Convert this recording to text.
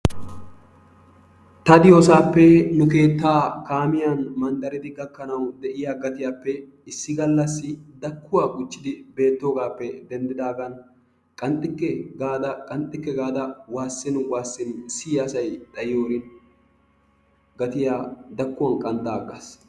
Ta diyoosaape nu keettaa kaamiyaan manddariidi gaakkanawu de'iyaa gatiyaappe issi gallaassi daakkuwaa guujjidi beettoogappe denddidaagan qanxxikke qanxxikke gaada waasin waasin siyiyaa asay xayiyoorin gaattiyaa daakkuwaan qanxxa aggaas.